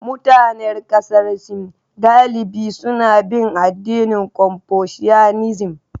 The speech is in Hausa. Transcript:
Mutanen kasar Sin galibi suna bin addinin Confucianism.